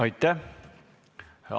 Aitäh!